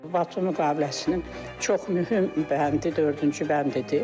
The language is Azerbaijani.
Batum müqaviləsinin çox mühüm bəndi dördüncü bəndidir.